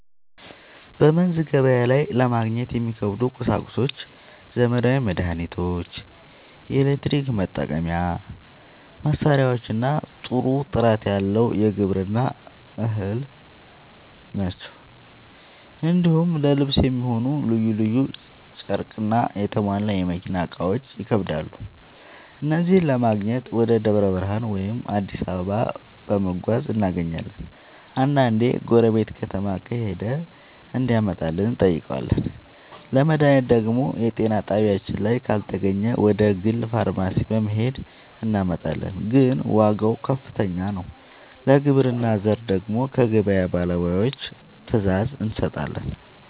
በመንዝ ገበያ ላይ ለማግኘት የሚከብዱ ቁሳቁሶች ዘመናዊ መድሃኒቶች፣ የኤሌክትሪክ መጠቀሚያ መሳሪያዎችና ጥሩ ጥራት ያለው የግብርና ᛢል ናቸው። እንዲሁም ለልብስ የሚሆን ልዩ ልዩ ጨርቅና የተሟላ የመኪና እቃዎች ይከብዳሉ። እነዚህን ለማግኘት ወደ ደብረ ብርሃን ወይም አዲስ አበባ በመጓዝ እናገኛለን፤ አንዳንዴ ጎረቤት ከተማ ከሄደ እንዲያመጣልን እንጠይቃለን። ለመድሃኒት ደግሞ የጤና ጣቢያችን ላይ ካልተገኘ ወደ ግል ፋርማሲ በመሄድ እናመጣለን፤ ግን ዋጋው ከፍተኛ ነው። ለግብርና ዘር ደግሞ ከገበያ ባለሙያዎች ትዕዛዝ እንሰጣለን።